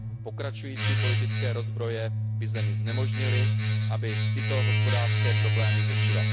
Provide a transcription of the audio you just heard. Pokračující politické rozbroje by zemi znemožnily, aby tyto hospodářské problémy řešila.